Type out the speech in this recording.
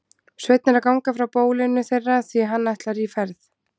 Sveinn er að ganga frá bólinu þeirra því hann ætlar í ferð.